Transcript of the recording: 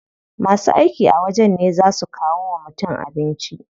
Masu aiki a wajen ne zaa su kawo wa mutum abinci.